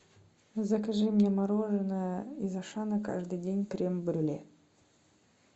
закажи мне мороженое из ашана каждый день крем брюле